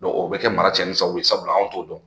o bɛ kɛ mara tiɲɛnifɛnw ye sabula an t'o dɔn